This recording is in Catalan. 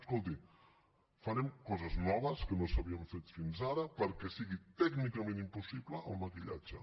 escolti farem coses noves que no s’havien fet fins ara perquè sigui tècnicament impossible el maquillatge